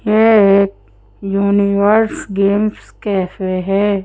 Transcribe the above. ये एक universe games cafe है।